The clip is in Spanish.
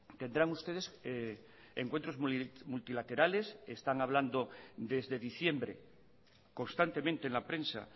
tendrán ustedes encuentros multilaterales están hablando desde diciembre constantemente en la prensa